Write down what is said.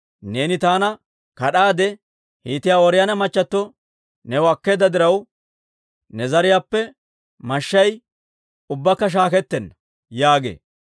Neeni taana kad'aade, Hiitiyaa Ooriyoona machchattio new akkeedda diraw, ne zariyaappe mashshay ubbakka shaakettenna› yaagee.